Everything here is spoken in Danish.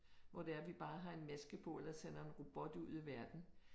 Hvor det er at vi bare har en maske på eller sender en robot ud i verden